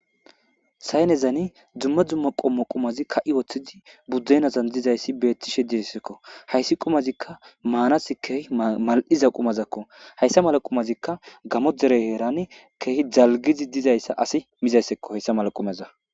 Saynezani dumma dumma qumati kayi utides budenazzan dizayssi betishe hayssi qumazi manassi kehi mal'zza qumakko hayssa mela qumazika gamo dere herani kehi dalgizzi disayssakko asi mizzay hequmazza.